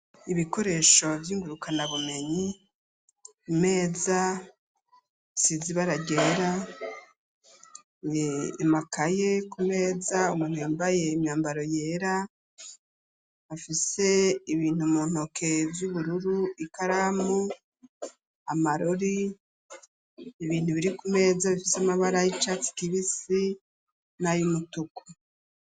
Ibikoresho by'ingurukana bumenyi umeza sizibaragera emakaye ku meza umuntu yambaye imyambaro yera bafise ibintu muntoke by'ubururu ikaramu amarori ibintu biri ku meza bifise amabara y'icatsi kibisi n'ayumutuku